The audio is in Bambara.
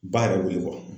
Ba yɛrɛ b'o ye